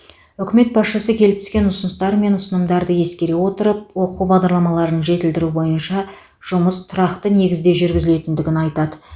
үкімет басшысы келіп түскен ұсыныстар мен ұсынымдарды ескере отырып оқу бағдарламаларын жетілдіру бойынша жұмыс тұрақты негізде жүргізілетіндігін айтады